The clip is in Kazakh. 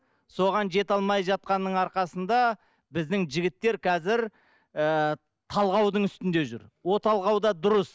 соған жете алмай жатқанның арқасында біздің жігіттер қазір ы талғаудың үстінде жүр ол талғау да дұрыс